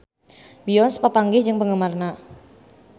Beyonce papanggih jeung penggemarna